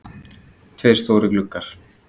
Tveir stórir gluggar.